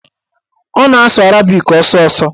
Ọ na-asụ arabik ọsọọsọ